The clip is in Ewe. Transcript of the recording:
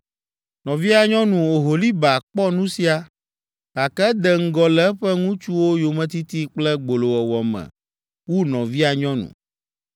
“Nɔvia nyɔnu Oholiba kpɔ nu sia, gake ede ŋgɔ le eƒe ŋutsuwo yometiti kple gbolowɔwɔ me wu nɔvia nyɔnu.